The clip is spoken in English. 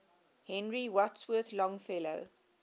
henry wadsworth longfellow